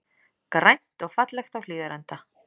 Grænt og fallegt á Hlíðarenda